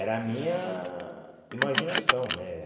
Era a minha imaginação, né?